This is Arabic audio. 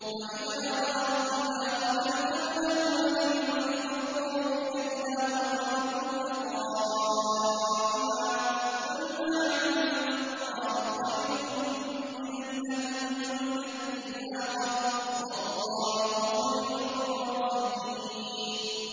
وَإِذَا رَأَوْا تِجَارَةً أَوْ لَهْوًا انفَضُّوا إِلَيْهَا وَتَرَكُوكَ قَائِمًا ۚ قُلْ مَا عِندَ اللَّهِ خَيْرٌ مِّنَ اللَّهْوِ وَمِنَ التِّجَارَةِ ۚ وَاللَّهُ خَيْرُ الرَّازِقِينَ